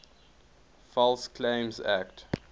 false claims act